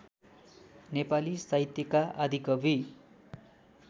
नेपाली साहित्यका आदिकवि